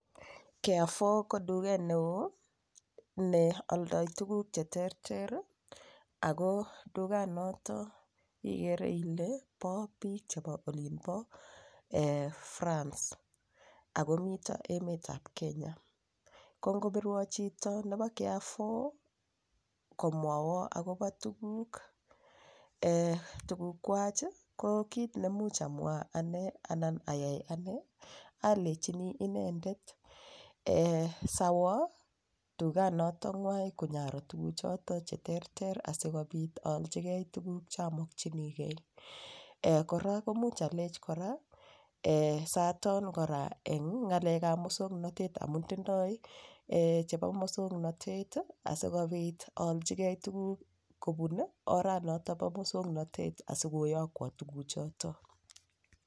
Carrefour ko tuget neo neoldoi tuguk cheterter ako tuganoto igere ile bo biik chebo olin bo France akomito emetab Kenya ko ngopirwo chito nebo carrefour komwoiwa akobo tugukwach ko kiit nemuch amwa ane anan ayai anee alechini inendet siawo tuganotong'wai konyaro tuguuchoto cheterter asikobit aolchigei tuguk chamokchinigei kora komuch alech kora saton kora eng' ng'alekab mosong'natet amun tindoi chebo mosong'natet asikobit aolchigei tuguk kobun oranoto bo mosong'natet asikoyokwo tuguchoto